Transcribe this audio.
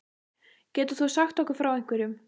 Getur þú sagt okkur frá einhverjum?